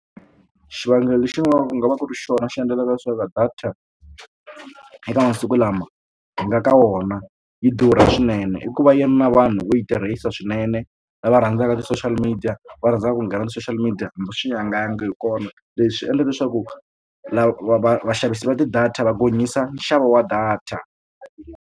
Xivangelo lexi vangaka ku nga va ku ri xona xi endlaka leswaku data eka masiku lama hi nga ka wona yi durha swinene i ku va yi ri na vanhu vo yi tirhisa swinene lava rhandzaka ti-social media va rhandzaka ku nghena ka ti-social media hambi swi nga yanga hi kona leswi endlaka leswaku lava vaxavisi va ti-data va gonyisa nxavo wa data.